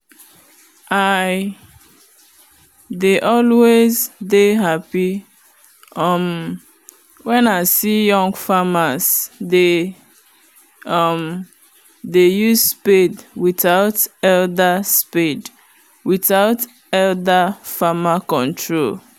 i dey always dey happy um wen i see young farmers dey um use spade without elder spade without elder farmer control